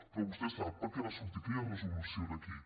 però vostè sap per què va sortir aquella resolució aquí